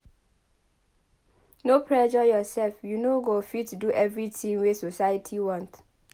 No pressure yoursef you no go fit do everytin wey society want.